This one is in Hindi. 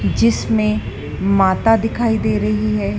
जिसमे माता दिखाई दे रही है।